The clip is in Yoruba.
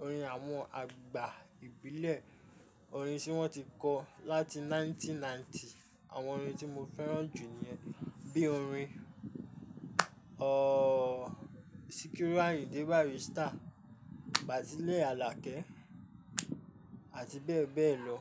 orin àwọn àgbà ìbílẹ̀, orin tí wọ́n ti kọ láti 1990. Àwọn orin tí mo fẹ́ràn jù niyen, bí i orin, ọ̀, Sikiru Ayinde Barrister, Bàbá Tílẹ̀ Alákẹ́ àti bẹ́ẹ̀ bẹ́ẹ̀ lọ.